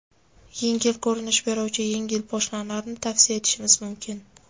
Yengil ko‘rinish beruvchi yengil poshnalarni tavsiya etishimiz mumkin.